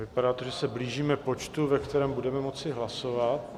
Vypadá to, že se blížíme počtu, ve kterém budeme moci hlasovat.